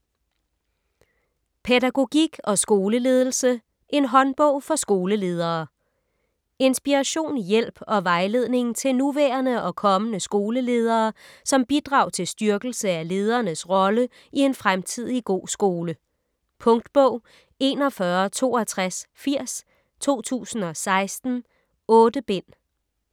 Pædagogik og skoleledelse: en håndbog for skoleledere Inspiration, hjælp og vejledning til nuværende og kommende skoleledere som bidrag til styrkelse af ledernes rolle i en fremtidig god skole. Punktbog 416280 2016. 8 bind.